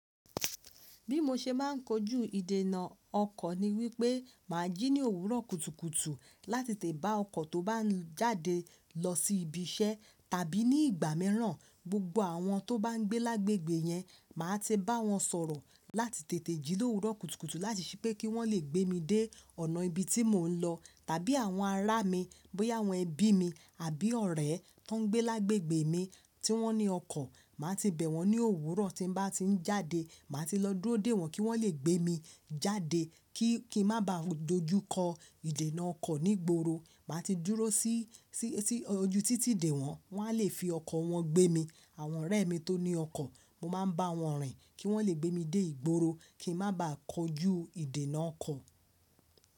Bí mo ṣe máa ń kojú ìdènà ọkọ̀ ni wípé màá jí ní òwúrọ̀ kùtùkùtù láti tètè bá ọkọ̀ tó bá ń jáde lọ sí ibi iṣẹ́ tàbí ní ìgbà mìíràn, gbogbo àwọn tó bá ń gbé lágbègbè yẹn, màá ti bá wọn sọ̀rọ̀ láti tètè jí ló òwúrọ̀ kùtùkùtù láti ṣí pé kí wọ́n lè gbé mi dé ọ̀nà ibi tí mò ń lọ. Tàbí àwọn ará mi, bóyá àwọn ẹbí mi àbí ọ̀rẹ́ tó ń gbé lágbègbè mi tí wọ́n ní ọkọ̀, màá ti bẹ̀ wọ́n ní òwúrọ̀ tí mo bá ti ń jáde. Màá ti lọ dúró dè wọ́n kí wọ́n lè gbé mi jáde kí, kí n má ba à dojú kọ ìdènà ọkọ̀ ní gboro. Màá ti dúró sí, sí, sí ojú títì dè wọ́n, wọ́n a lè fi ọkọ̀ wọn gbé mi. Àwọn ọ̀rẹ́ mi tó ní ọkọ̀, mo máa ń bá wọn rìn kí wọ́n lè gbé mi dé ìgboro kí n má ba à kojú ìdènà ọkọ̀.